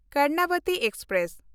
Karnavati express